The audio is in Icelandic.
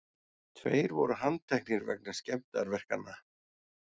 Tveir voru handteknir vegna skemmdarverkanna